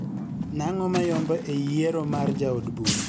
Nang'o mayombo eyiero mar jaod bura